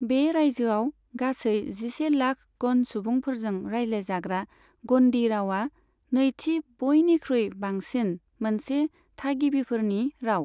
बे रायजोआव गासै जिसे लाख ग'न्ड सुबुंफोरजों रायज्लायजाग्रा ग'न्डी रावआ नैथि बयनिख्रुइ बांसिन मोनसे थागिबिफोरनि राव।